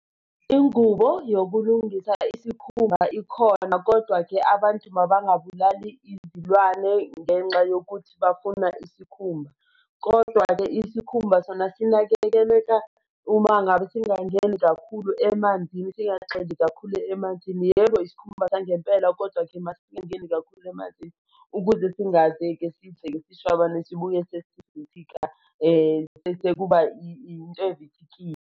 Ingubo yokulungisa isikhumba ikhona, kodwa-ke abantu mabangabulali izilwane ngenxa yokuthi bafuna isikhumba. Kodwa-ke isikhumba sona sinakekeleka uma ngabe singangeni kakhulu emanzini, singagxili kakhulu emanzini. Yebo isikhumba sangempela, kodwa-ke masingangeni kakhulu emanzini, ukuze singadleki, sidleke sishwabane sibuye sesivithika bese kuba into evithikile.